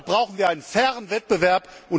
Deshalb brauchen wir einen fairen Wettbewerb.